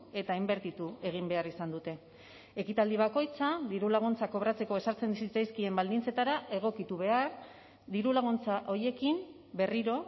eta inbertitu egin behar izan dute ekitaldi bakoitza dirulaguntzak kobratzeko ezartzen zitzaizkien baldintzetara egokitu behar dirulaguntza horiekin berriro